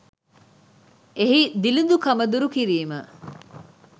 එහි දිළිඳුකම දුරු කිරීම